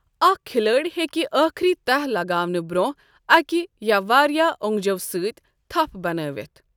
اکھ کھلٲڑۍ ہیکہِ آخری تہہ لگاونہٕ برونٛہہ اکِہ یا واریاہ اونٛگجو سۭتۍ تَھپھ بنٲوِتھ۔۔